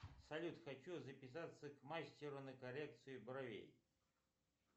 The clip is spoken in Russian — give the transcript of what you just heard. салют хочу записаться к мастеру на коррекцию бровей